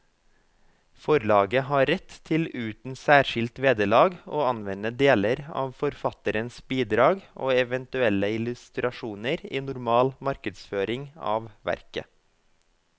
Forlaget har rett til uten særskilt vederlag å anvende deler av forfatterens bidrag og eventuelle illustrasjoner i normal markedsføring av verket.